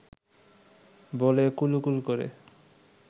বলে কুলুকুলু করে